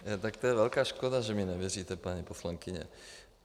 Tak to je velká škoda, že mně nevěříte, paní poslankyně.